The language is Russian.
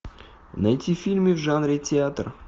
найти фильмы в жанре театр